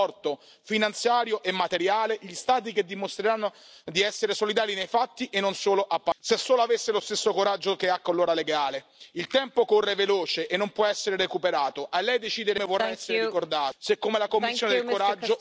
Por eso, ante la Comisión de la última oportunidad, las elecciones del 2019 son un test existencial para que no pueda ganar ni el nacionalismo ni la eurofobia por incomparecencia de quienes debemos evitarlo. La responsabilidad de la Comisión es inapelable.